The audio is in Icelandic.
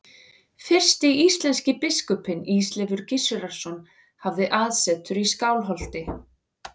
Fyrsti íslenski biskupinn, Ísleifur Gissurarson, hafði aðsetur í Skálholti.